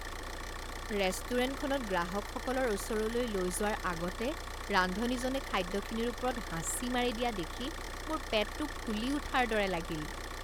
ৰেষ্টুৰেণ্টখনত গ্ৰাহকসকলৰ ওচৰলৈ লৈ যোৱাৰ আগতে ৰান্ধনীজনে খাদ্যখিনিৰ ওপৰত হাঁচি মাৰি দিয়া দেখি মোৰ পেটটো ফুলি উঠাৰ দৰে লাগিল।